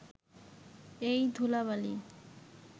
এই ধূলা-বালি